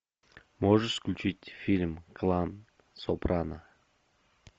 можешь включить фильм клан сопрано